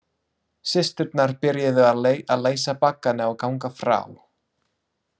Systurnar byrjuðu að leysa baggana og ganga frá.